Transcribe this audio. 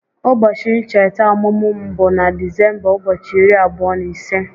Ụbọchị ncheta ọmụmụ m bụ na Disemba ụbọchị iri abụọ na ise